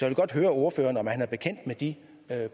vil godt høre ordføreren om han er bekendt med de